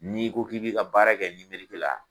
N'i ko k'i bɛ i ka baara kɛ la.